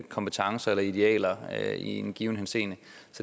kompetencer eller idealer i en given henseende